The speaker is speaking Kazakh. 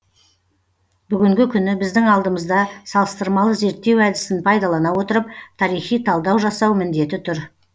бүгінгі күні біздің алдымызда салыстырмалы зерттеу әдісін пайдалана отырып тарихи талдау жасау міндеті тұр